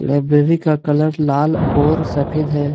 Library colour कलर लाल और सफेद है।